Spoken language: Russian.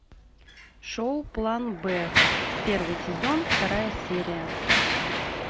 шоу план б первый сезон вторая серия